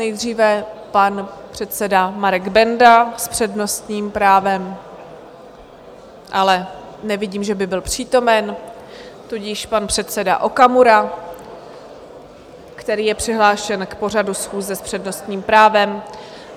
Nejdříve pan předseda Marek Benda s přednostním právem, ale nevidím, že by byl přítomen, tudíž pan předseda Okamura, který je přihlášen k pořadu schůze s přednostním právem.